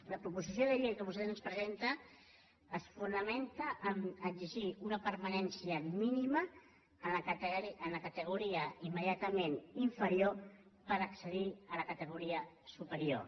la proposició de llei que vostès ens presenten es fona·menta en l’exigència d’una permanència mínima en la categoria immediatament inferior per accedir a la ca·tegoria superior